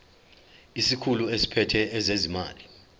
isikhulu esiphethe ezezimali